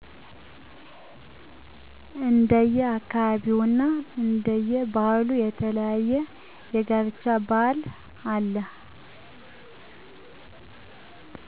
እንደየ አካባቢውና እንደየ ባህሉ የተለያየ የጋብቻ ባህል አለ